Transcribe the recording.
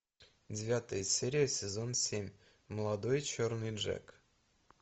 девятая серия сезон семь молодой черный джек